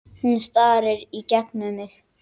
Hún starir í gegnum mig.